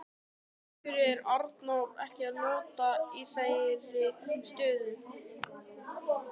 Af hverju er Arnór ekki notaður í þeirri stöðu?